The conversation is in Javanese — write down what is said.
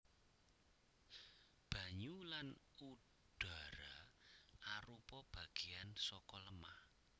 Banyu lan udhara arupa bagéyan saka lemah